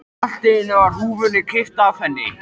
Allt í einu er húfunni kippt af henni!